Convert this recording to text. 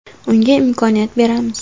Unga imkoniyat beramiz”.